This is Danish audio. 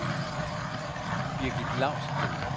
Birgith Lausten